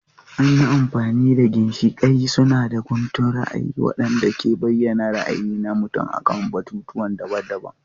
An yi amfani da ginshiƙai suna da guntun ra'ayi waɗanda ke bayyana ra'ayi na mutum akan batutuwa daban-daban.